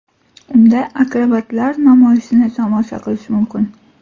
Unda akrobatlar namoyishini tomosha qilish mumkin.